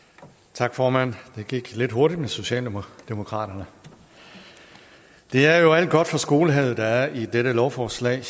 tak formand det gik lidt hurtigt med socialdemokratiet det er jo alt godt fra skolehavet der er i dette lovforslag